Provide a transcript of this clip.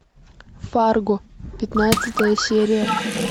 фарго пятнадцатая серия